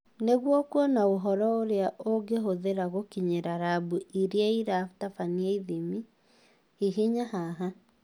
Nĩguo kuona ũhoro ũrĩa ũngĩhũthĩra gũkinyĩra rambu irĩa iratabania ithimi, hihinya haha